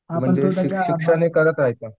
म्हणजे करता येतात.